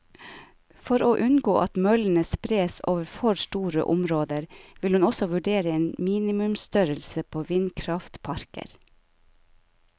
For å unngå at møllene spres over for store områder, vil hun også vurdere en minimumsstørrelse på vindkraftparker.